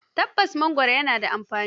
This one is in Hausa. Tabbas, mangoro yana da amfani.